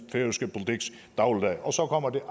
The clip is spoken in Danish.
kommer det